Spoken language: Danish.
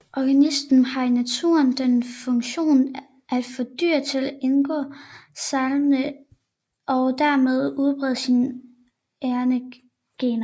Orgasmen har i naturen den funktion at få dyr til indgå samleje og dermed udbrede sine egne gener